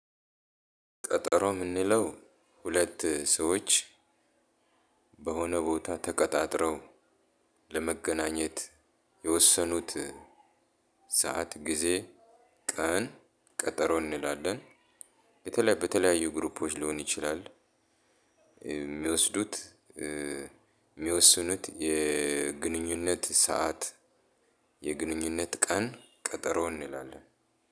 ቀጠሮ የምንለው ሁለት ሰዎች በሆነ ቦታ ተቀጣጥረው ለመገናኘት የወሰኑት ሰዓት፣ ጊዜ፣ ቀን ቀጠሮ እንላለን። በተለይ በተለያዩ 'ግሩፖዎች' ሊሆን ይችላል የሚወስዱት የሚወስኑት የግንኙነት ሰዓት የግንኙነት ቀን ቀጠሮ እንላለን።